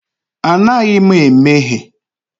Anaghị m emehie.